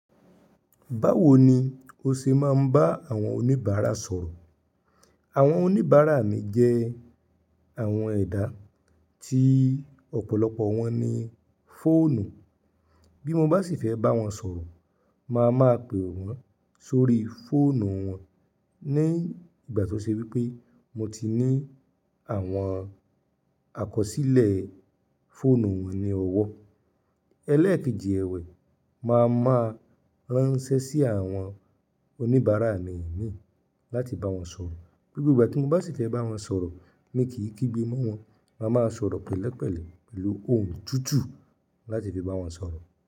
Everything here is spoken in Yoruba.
Báwo ni o ṣe máa ń bá àwọn oníbàárà sọ̀rọ̀? Àwọn oníbàárà mi jẹ́ àwọn ẹ̀dá tí ọ̀pọ̀lọpọ̀ wọn ní fóònù. Bí mo bá sì fẹ́ bá wọn sọ̀rọ̀, màá máa pe wọ́n sórí fóònù wọn ní ìgbà tí ó ṣe wípé mo ti ní àwọn àkọsílẹ̀ fóònù wọn ní ọwọ́. Elẹ́ẹ̀kejì ẹwẹ̀, màá máa ránṣẹ́ sí àwọn oníbàárà mi mí láti bá wọn sọ̀rọ̀. Gbogbo ìgbà tí mo bá sì fẹ́ bá wọn sọ̀rọ̀, mi kì í kígbe mọ́ wọn, màá máa sọ̀rọ̀ pẹ̀lẹ́pẹ̀lẹ́ pẹ̀lú ohùn tutù láti fi bá wọn sọ̀rọ̀